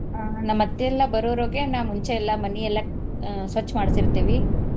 ಅ ನಮ್ ಅತ್ತಿ ಎಲ್ಲಾ ಬರೋರೊಳ್ಗೆ ನಾ ಮುಂಚೆ ಎಲ್ಲಾ ಮನಿ ಎಲ್ಲಾ ಅ ಸ್ವಚ್ ಮಾಡ್ಸೀರತೇವಿ.